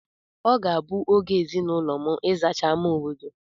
Ọ ga-abụ oge ezinaụlọ m ịzacha ámá obodo.